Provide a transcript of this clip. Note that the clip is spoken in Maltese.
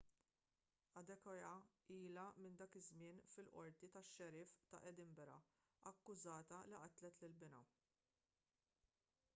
adekoya ilha minn dak iż-żmien fil-qorti tax-xeriff ta' edinburgh akkużata li qatlet lil binha